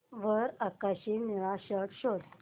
वर आकाशी निळा शर्ट शोध